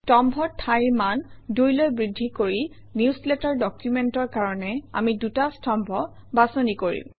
স্তম্ভৰ ঠাইৰ মান ২ লৈ বৃদ্ধি কৰি নিউজলেটাৰ ডকুমেণ্টৰ কাৰণে আমি ২টা স্তম্ভ বাছনি কৰিম